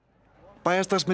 bæjarstarfsmenn í